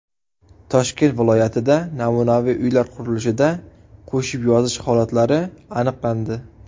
Toshkent viloyatida namunaviy uylar qurilishida qo‘shib yozish holatlari aniqlandi.